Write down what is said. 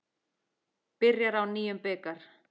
Byrjar á nýjum bikar.